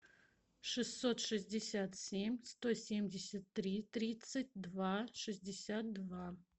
шестьсот шестьдесят семь сто семьдесят три тридцать два шестьдесят два